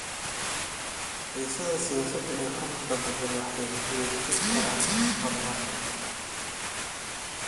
Xiisadaha siyaasadeed ee heer gobol waxay wiiqi karaan horumarka.